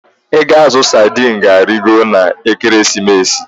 Ego azụ sadi ịnụ ga-arịgo n'Ekeresimesi.